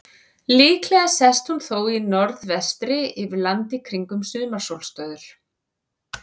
Líklega sest hún þó í norðvestri yfir landi kringum sumarsólstöður.